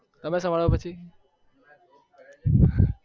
તમે